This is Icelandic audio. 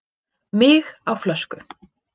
Mig á flösku